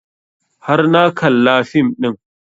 Har na kalla fim ɗin